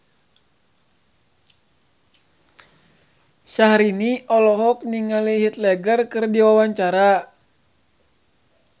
Syahrini olohok ningali Heath Ledger keur diwawancara